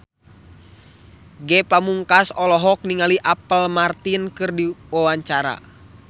Ge Pamungkas olohok ningali Apple Martin keur diwawancara